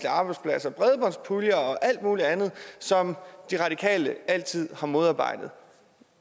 arbejdspladser bredbåndspuljer og alt muligt andet som de radikale altid har modarbejdet